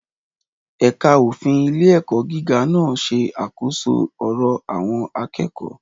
Ẹ̀ka òfin ilé-ẹ̀kọ́ gíga náà ṣe àkóso ọ̀rọ̀ àwọn akẹ́kọ̀ọ́.